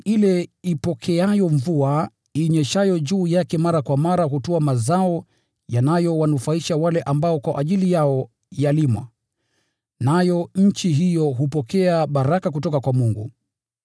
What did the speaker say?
Ardhi ile ipokeayo mvua inyeshayo juu yake mara kwa mara hutoa mazao yanayowanufaisha wale ambao kwa ajili yao yalimwa, nayo nchi hiyo hupokea baraka kutoka kwa Mungu.